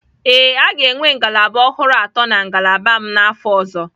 Ee, a ga-enwe ngalaba ọhụrụ atọ na ngalaba m n'afọ ọzọ.